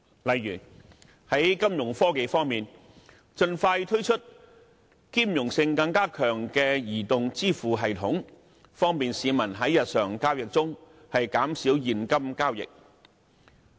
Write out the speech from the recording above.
例如在金融科技方面，盡快推出兼容性更強的移動支付系統，方便市民在日常交易中減少現金交易。